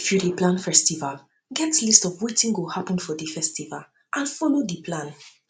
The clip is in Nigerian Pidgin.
if you dey you dey plan festival um get list of wetin um go um happen for di festival and follow di plan